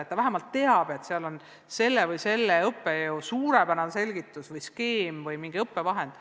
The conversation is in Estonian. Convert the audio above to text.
Õpetaja vähemalt teab, et seal on ühe või teise õppejõu suurepärane selgitus, skeem või mingi muu õppevahend.